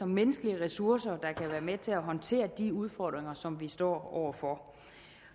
menneskelige ressourcer der kan være med til at håndtere de udfordringer som vi står over for